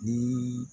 Ni